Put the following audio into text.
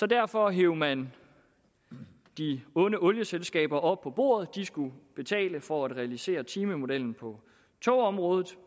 derfor hev man de onde olieselskaber op på bordet de skulle betale for at realisere timemodellen på togområdet